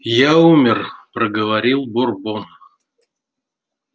я умер проговорил бурбон